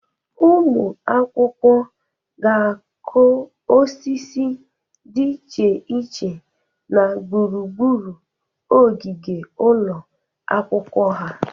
Ụmụ akwụkwọ ga-akụ osisi dị iche iche na gburugburu ogige ụlọ akwụkwọ ha.